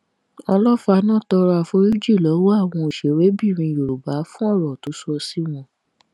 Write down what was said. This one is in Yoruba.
olọfààná tọrọ àforíjì lọwọ àwọn òṣèrébìnrin yorùbá fún ọrọ tó sọ sí wọn